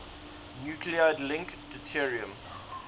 nuclide link deuterium